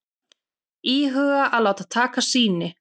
Íhuga að láta taka sýni